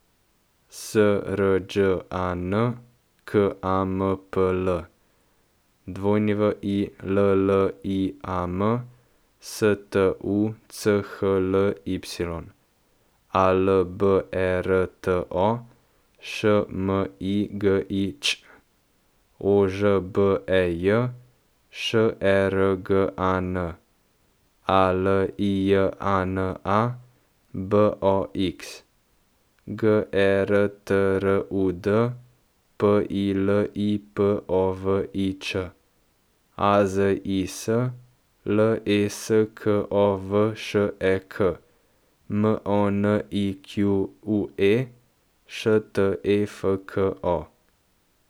S R Đ A N, K A M P L; W I L L I A M, S T U C H L Y; A L B E R T O, Š M I G I Ć; O Ž B E J, Š E R G A N; A L I J A N A, B O X; G E R T R U D, P I L I P O V I Č; A Z I S, L E S K O V Š E K; M O N I Q U E, Š T E F K O.